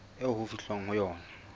eo ho fihlwang ho yona